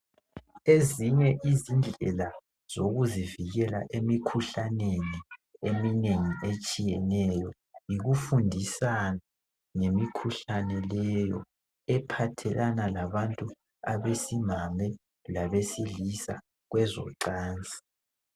Ezinye izindlela zokuzivikela emikhuhlaneni eminengi etshiyeneyo yikufundisana ngemikhuhlane leyo ephathelana labantu abesimame labesilisa kwezocansi.